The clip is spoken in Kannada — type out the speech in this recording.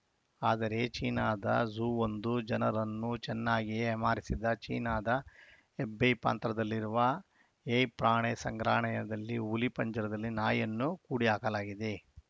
ಆದರೆ ಚೀನಾದ ಝೂವೊಂದು ಜನರನ್ನು ಚೆನ್ನಾಗಿಯೇ ಏಮಾರಿಸಿದ ಚೀನಾದ ಹೆಬೈ ಪಾಂತ್ರದಲ್ಲಿರುವ ಹೇ ಪ್ರಾಣೆ ಸಂಗ್ರಾನಯದಲ್ಲಿ ಹುಲಿ ಪಂಜರದಲ್ಲಿ ನಾಯಿಯನ್ನು ಕೂಡಿಹಾಕಲಾಗಿದೆ